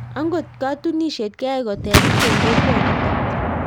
Angot katunisiet keyae koterit eng kokwaa nitak